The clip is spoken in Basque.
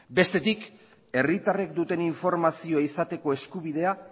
bestetik herritarrek duten informazio izateko eskubidea